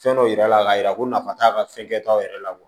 Fɛn dɔw yira a la ka yira ko nafa t'a la fɛnkɛ t'aw yɛrɛ la